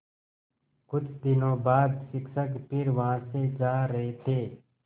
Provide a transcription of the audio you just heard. कुछ दिनों बाद शिक्षक फिर वहाँ से जा रहे थे